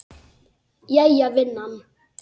Jæja vinan.